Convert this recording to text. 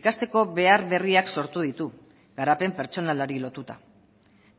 ikasteko behar berriak sortu ditu garapen pertsonalari lotuta